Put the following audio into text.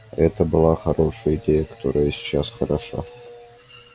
это была хорошая идея которая и сейчас хороша